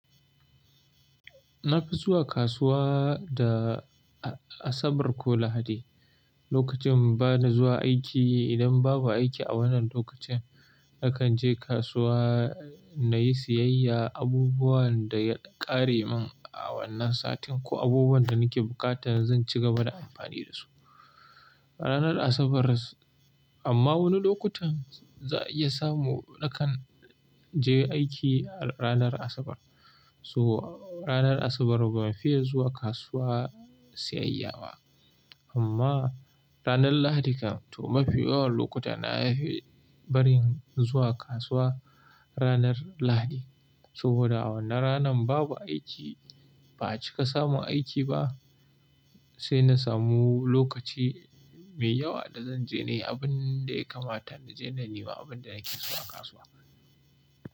Na fi zuwa kasuwa da Asabar ko Lahadi. Lokacin ba ni zuwa aiki idan babu aiki a wannan lokacin, na kan je kasuwa na yi siyayya abubuwan da ya ƙare min a wannan satin ko abubuwan da nake buƙata zan ci gaba da amfani da su. A ranar Asabar, amma wani lokutan za a iya samu na kan je aiki a ranar Asabar. To ranar Asabar ba fiye zuwa kasuwa siyayya ba. Amma ranar Lahadi kan tu mafi yawan lokuta na fi bari zuwa kasuwa ranar Lahadi. Saboda wannan ranan babu aiki, ba acika samun aiki ba, sai na samu lokaci mai yawa da zan je nayi abin da ya kamata na je na nema abin da nake so a kasuwa.